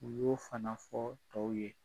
U y'o fana fɔɔ tɔw ye.